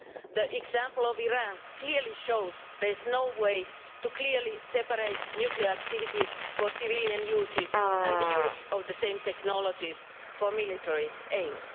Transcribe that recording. The example of Iran clearly shows there is no way to clearly separate nuclear activities for civilian uses and the use of the same technologies for military aims.